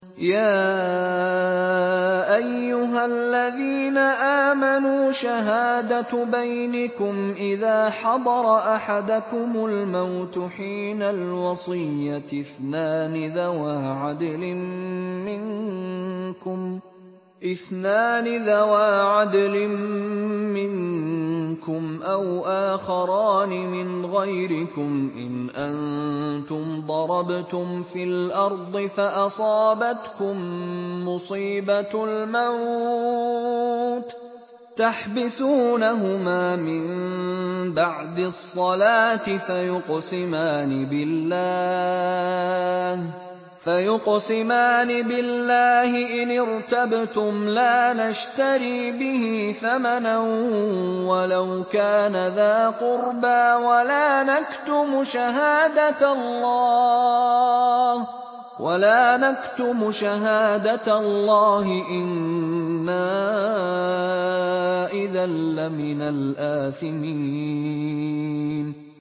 يَا أَيُّهَا الَّذِينَ آمَنُوا شَهَادَةُ بَيْنِكُمْ إِذَا حَضَرَ أَحَدَكُمُ الْمَوْتُ حِينَ الْوَصِيَّةِ اثْنَانِ ذَوَا عَدْلٍ مِّنكُمْ أَوْ آخَرَانِ مِنْ غَيْرِكُمْ إِنْ أَنتُمْ ضَرَبْتُمْ فِي الْأَرْضِ فَأَصَابَتْكُم مُّصِيبَةُ الْمَوْتِ ۚ تَحْبِسُونَهُمَا مِن بَعْدِ الصَّلَاةِ فَيُقْسِمَانِ بِاللَّهِ إِنِ ارْتَبْتُمْ لَا نَشْتَرِي بِهِ ثَمَنًا وَلَوْ كَانَ ذَا قُرْبَىٰ ۙ وَلَا نَكْتُمُ شَهَادَةَ اللَّهِ إِنَّا إِذًا لَّمِنَ الْآثِمِينَ